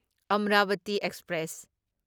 Amravati express